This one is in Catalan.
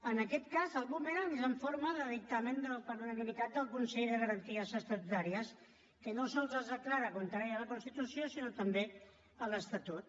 en aquest cas el bumerang és en forma de dictamen per unanimitat del consell de garanties estatutàries que no sols la declara contrària a la constitució sinó també a l’estatut